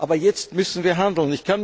Aber jetzt müssen wir handeln.